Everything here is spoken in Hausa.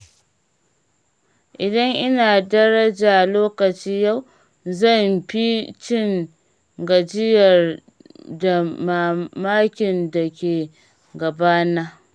Idan ina daraja lokaci yau, zan fi cin gajiyar damarmakin da ke gabana.